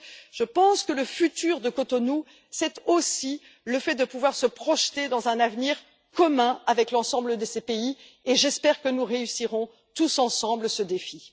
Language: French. Alors je pense que le futur de Cotonou, c'est aussi le fait de pouvoir se projeter dans un avenir commun avec l'ensemble de ces pays et j'espère que nous réussirons tous ensemble ce défi.